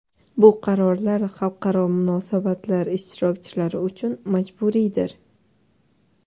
Bu qarorlar xalqaro munosabatlar ishtirokchilari uchun majburiydir.